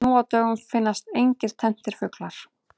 Nú á dögum finnast engir tenntir fuglar.